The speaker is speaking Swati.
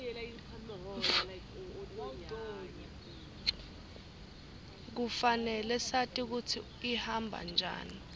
kufanele sati kutsi ihamba njani